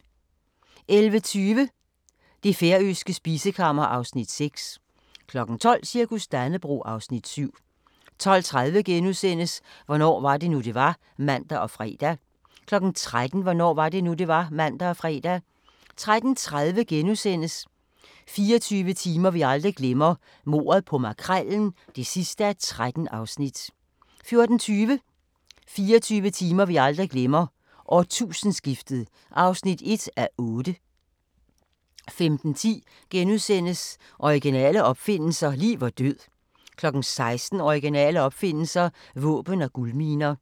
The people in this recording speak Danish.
11:20: Det færøske spisekammer (Afs. 6) 12:00: Cirkus Dannebrog (Afs. 7) 12:30: Hvornår var det nu, det var? *(man og fre) 13:00: Hvornår var det nu, det var? (man og fre) 13:30: 24 timer vi aldrig glemmer – Mordet på Makrellen (13:13)* 14:20: 24 timer vi aldrig glemmer: Årtusindeskiftet (1:8) 15:10: Originale opfindelser – liv og død * 16:00: Originale opfindelser – våben og guldminer